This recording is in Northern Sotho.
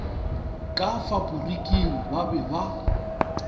ka faporiking ba be ba